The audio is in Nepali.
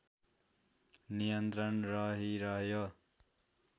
नियन्त्रण रहिरह्यो